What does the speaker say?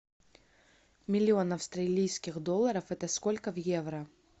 миллион австралийских долларов это сколько в евро